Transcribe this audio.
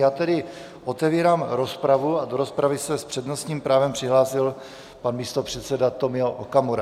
Já tedy otevírám rozpravu a do rozpravy se s přednostním právem přihlásil pan místopředseda Tomio Okamura.